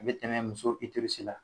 A bɛ tɛmɛ muso la